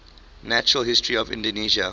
natural history of indonesia